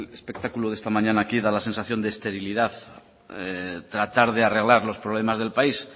espectáculo de esta mañana da la sensación de esterilidad tratar de arreglar los problemas del país